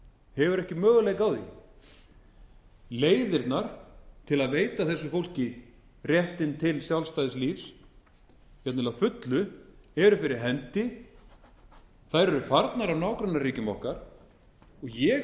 hefur ekki möguleika á því leiðirnar til að veita þessu fólki rétt til sjálfstæðs lífs jafnvel að fullu eru fyrir hendi þær eru farnir úr nágrannaríkjum okkar og ég